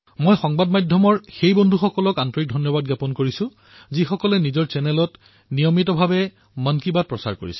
মই সংবাদ মাধ্যমৰ সেইসকল ব্যক্তিকো হৃদয়েৰে ধন্যবাদ প্ৰদান কৰিব বিচাৰিছো যিয়ে নিজৰ চেনেলত মন কী বাতৰ প্ৰতিটো খণ্ড নিয়মিত ৰূপত প্ৰচাৰ কৰে